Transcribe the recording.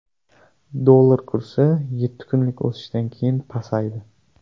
Dollar kursi yetti kunlik o‘sishdan keyin pasaydi.